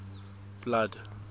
blood